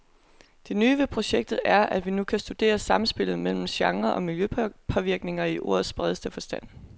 Det nye ved projektet er, at vi nu kan studere samspillet mellem gener og miljøpåvirkninger i ordets bredeste forstand.